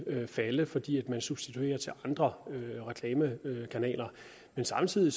falde fordi man substituerer til andre reklamekanaler men samtidig